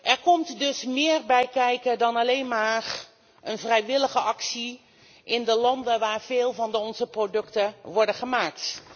Er komt dus meer bij kijken dan alleen maar een vrijwillige actie in de landen waar veel van onze producten worden gemaakt.